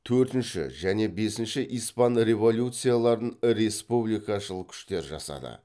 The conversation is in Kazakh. төртінші және бесінші испан революцияларын республикашыл күштер жасады